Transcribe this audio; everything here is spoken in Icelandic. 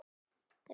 En hvað með Haga?